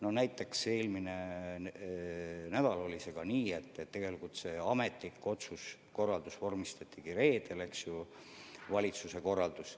Aga näiteks eelmine nädal oli nii, et tegelikult see ametlik otsus, valitsuse korraldus vormistati reedel.